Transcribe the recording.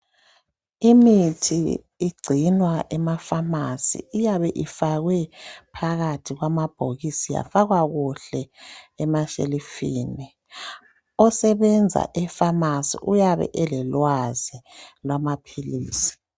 Imithi igcinwa emafasi. Iyabe ifakwe phakathi kwamabhokisini yafakwa kuhle emashelufini. Osenza efamasi uyabe elelwazi lwamapilisi .